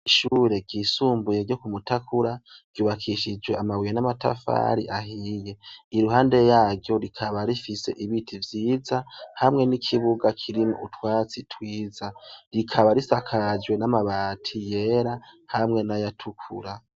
Ishure ryisumbuye ryo kumutakura ryubakishijwe amabuye n'amatafari ahiye. Iruhande yaryo rikaba rifise ibiti vyiza hamwe n'ikibuga kirimwo utwatsi twiza; rikaba risakajwe n'amabati yera hamwe n'ayatukura.